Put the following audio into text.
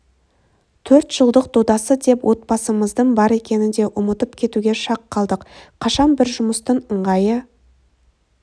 төртжылдық додасы деп отбасымыздың бар екенін де ұмытып кетуге шақ қалдық қашан бір жұмыстың ыңғайы